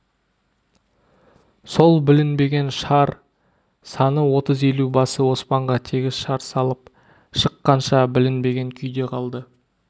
сол білінбеген шар саны отыз елубасы оспанға тегіс шар салып шыққанша білінбеген күйде қалды